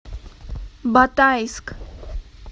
батайск